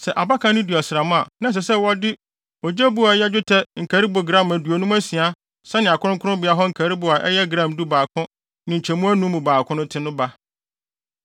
Sɛ abakan no di ɔsram a, na ɛsɛ sɛ wɔde ogye bo a ɛyɛ dwetɛ nkaribo gram aduonum asia sɛnea kronkronbea hɔ nkaribo a ɛyɛ gram dubaako ne nkyemu anum mu baako no te no ba.